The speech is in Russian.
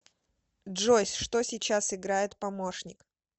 джой что сейчас играет помощник